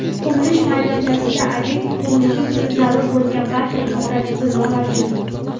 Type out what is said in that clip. qurilish maydonchasida ob’ekt qurilishi uchun zarur bo‘lgan barcha infratuzilma mavjud.